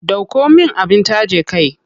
Ɗauko min abin taje kai.